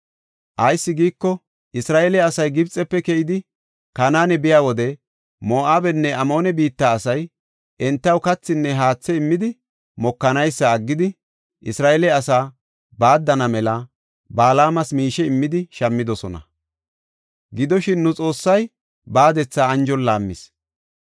Ayis giiko, Isra7eele asay Gibxefe keyidi, Kanaane biya wode Moo7abenne Amoone biitta asay entaw kathinne haathe immidi mokanaysa aggidi, Isra7eele asaa baaddana mela Balaamas miishe immidi shammidosona. Gidoshin, nu Xoossay baadetha anjon laammis.